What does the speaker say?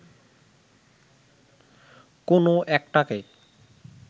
কোনো একটাকে